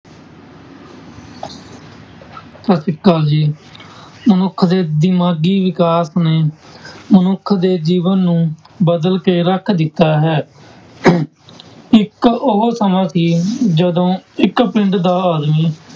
ਸਤਿ ਸ੍ਰੀ ਅਕਾਲ ਜੀ ਮਨੁੱਖ ਦੇ ਦਿਮਾਗੀ ਵਿਕਾਸ ਨੇ ਮਨੁੱਖ ਦੇ ਜੀਵਨ ਨੂੰ ਬਦਲ ਕੇ ਰੱਖ ਦਿੱਤਾ ਹੈ ਇੱਕ ਉਹ ਸਮਾਂ ਸੀ ਜਦੋਂ ਇੱਕ ਪਿੰਡ ਦਾ ਆਦਮੀ